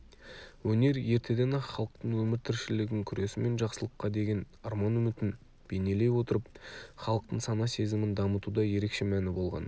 өнер ертеден-ақ халықтың өмір-тіршілігін күресі мен жақсылыққа деген арман-үмітін бейнелей отырып халықтың сана-сезімін дамытуда ерекше мәні болған